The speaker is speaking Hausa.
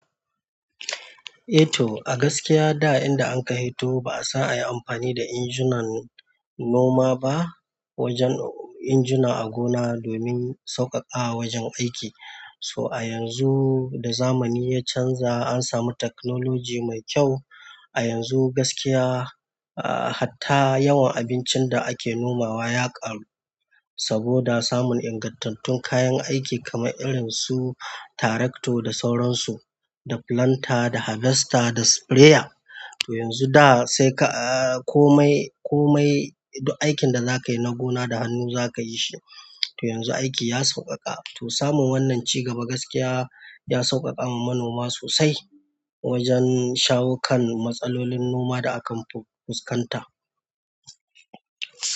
Eh to, a gaskiya da inda an ka hito ba asan ayi amfani da injinan noma ba wajen. Injuna a gona domin sauƙaƙawa wajen aiki. To a yanzu da zamani ya canja an samu technology mai kyau. A yanzu gaskiya, ah hatta yawan abincin da ake nomawa ya ƙaru saboda samun ingantattun kayan aiki kamar irinsu tarakto da sauransu, da planter, da harvester, da sprayer. To yanzu da sai ka. Komai. Komai duk aikin da za ka yi na gona da hannu za ka yi shi. To yanzu aiki ya sauƙaƙa. To samun wannan cigaba gaskiya ya sauƙaƙa ma manoma sosai wajen shawo kan matsalolin noma da akan fi. Fuskanta.